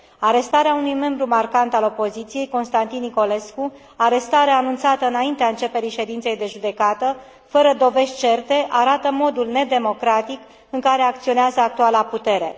Arestarea unui membru marcant al opoziției, Constantin Nicolescu, arestare anunțată înaintea începerii ședinței de judecată, fără dovezi certe, arată modul nedemocratic în care acționează actuala putere.